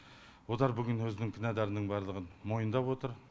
олар бүгін өзінің кінәларының барлығын мойындап отыр